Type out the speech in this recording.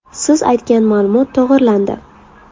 Siz aytgan ma’lumot to‘g‘rilandi.